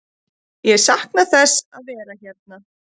Ég sakna þess að vera hérna.